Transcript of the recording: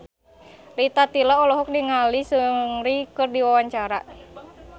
Rita Tila olohok ningali Seungri keur diwawancara